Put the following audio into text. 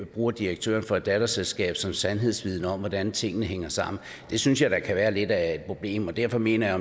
bruger direktøren for et datterselskab som sandhedsvidne om hvordan tingene hænger sammen det synes jeg da kan være lidt af et problem derfor mener jeg